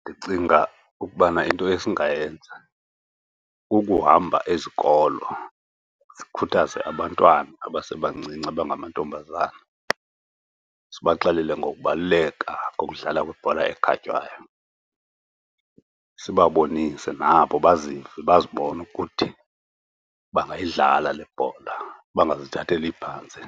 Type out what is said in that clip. Ndicinga ukubana into esingayenza kukuhamba izikolo sikhuthaze abantwana abasebancinci abangamantombazana, sibaxelele ngokubaluleka kokudlala kwebhola ekhatywayo. Sibabonise nabo bazive, bazibone ukuthi bangayidlala le bhola, bangazithatheli phantsi.